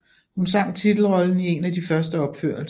Hun sang titelrollen i en af de første opførelser